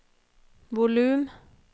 volum